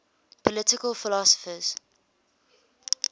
political philosophers